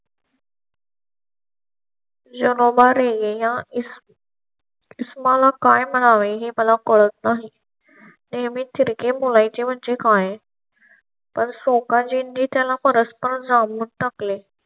या इसमाला काय म्हणावे हे मला कळत नाही. नेहमीच तिरके बोलायचे म्हणजे काय. पण सोकाजींनी त्याला परस्पर नच टाकले.